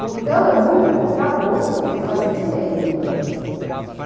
Então, eu, muito contra gosto, fui fazer direito, né.